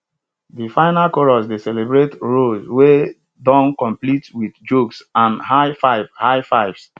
de final chorus dey celebrate rows wey don complete wit jokes and high fives high fives